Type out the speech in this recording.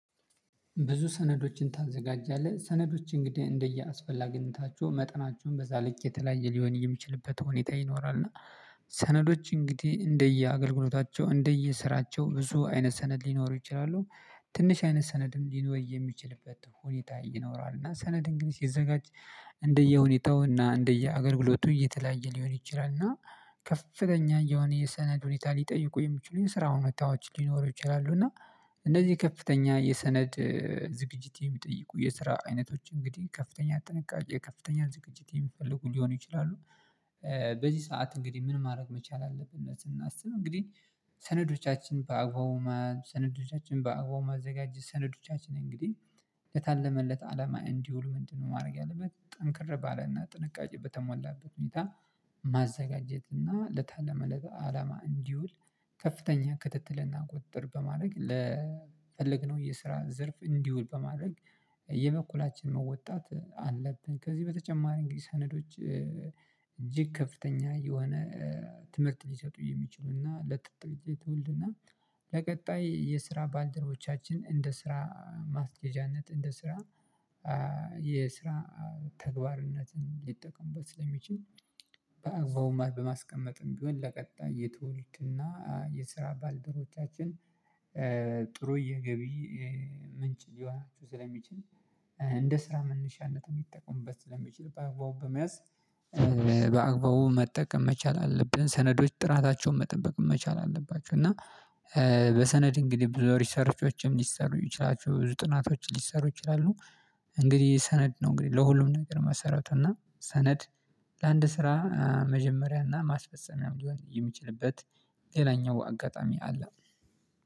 ብዙ ሰነዶችን ታዘጋጃለህ ሰነዶች እንግዲህ እንደየአስፈላጊነታቸው መጠናቸውም በዛ ልክ የተለያየ ሊሆን የሚችልበት ሁኔታ ይኖራል እና ሰነዶች እንግዲህ እንደየ አገልግሎታቸው እንደየ ስራቸው ብዙ አይነት ሰነድ ሊኖሩ ይችላሉ። ትንሽ አይነት ሰነድም ሊኖር የሚችልበት ሁኔታ ይኖራል እና ሰነድን ግን ሲዘጋጅ እንደየሁኔታው እና እንደ የአገልግሎቱ የተለያየ ሊሆን ይችላል እና ከፍተኛ የሆነ የሰነድ ሁኔታ ሊጠይቁ የሚችሉ የስራ ሁኔታዎች ሊኖሩ ይችላሉ። እና እነዚህ ከፍተኛ የሰነድ ዝግጅት የሚጠይቁ የስራ አይነቶች እንግዲህ ከፍተኛ ጥንቃቄ ከፍተኛ ዝግጅት የሚፈልጉ ሊሆኑ ይችላሉ። በዚህ ሰዓት እንግዲህ ምን ማድረግ መቻል አለብን ስናስብ እንግዲህ ሰነዶቻችን በአግባቡ ሰነዶቻችን በአግባቡ ማዘጋጀት ሰነዶቻችን እንግዲህ ለታለመለት አላማ እንዲውል ምንድነው ማድረግ ያለበት ጠንከር ባለና ጥንቃቄ በተሞላበት ሁኔታ? ማዘጋጀትና ለታለመለት አላማ እንዲውል ከፍተኛ ክትትልና ቁጥጥር በማድረግ ለፈለግነው የስራ ዘርፍ እንዲውል በማድረግ የበኩላችን መወጣት አለብን። ከዚህ በተጨማሪ እንግዲህ ሰነዶች እጅግ ከፍተኛ የሆነ ትምህርት ሊሰጡ የሚችሉና ለጥሩ ዝግጅት ትውልድና ለቀጣይ የስራ ባልደረቦቻችን እንደ ስራ ማስኬጄያነት እንደ ስራ የስራ ተግባርነትን ሊጠቀሙበት ስለሚችል በአግባቡ ማለት በማስቀመጥም ቢሆን ለቀጣይ የትውልትና የስራ ባልደሮቦቻችን ጥሩ የገቢ ምንጭ ሊሆናችሁ ስለሚችል እንደ ስራ መነሻነት ሊጠቀሙበት ስለሚችል በአግባቡ በመያዝ በአግባቡ መጠቀም መቻል አለብን። ሰነዶች ጥራታቸውን መጠበቅ መቻል አለባቸው እና በሰነድ እንግዲህ ብዙ ሪሰርቾችም ሊሰሩ ይችላሉ ብዙ ጥናቶችም ሊሰሩ ይችላሉ። እንግዲህ ሰነድ ነው። እንግዲህ ለሁሉም ነገር መሰረቱና ሰነድ ለአንድ ስራ መጀመሪያና ማስፈፀሚያም ሊሆን የሚችልበት ሌላኛው አጋጣሚ አለ።